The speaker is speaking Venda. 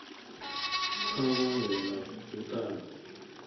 kha vha vhe na vhuṱanzi